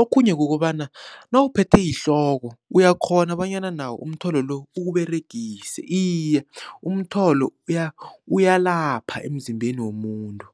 Okhunye kukobana nawuphethe yihloko uyakghona bonyana nawo umtholo lo uwUberegise, iye umtholo uyalapha emzimbeni womuntu.